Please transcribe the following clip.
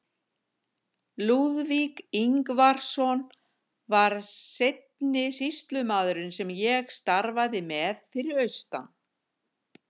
Lúðvík Ingvarsson var seinni sýslumaðurinn sem ég starfaði með fyrir austan.